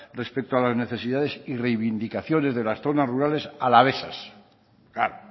respecto a las necesidades y reivindicaciones de las zonas rurales alavesas claro